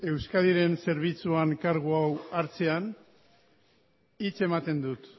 euskadiren zerbitzuan kargu hau hartzean hitz ematen dut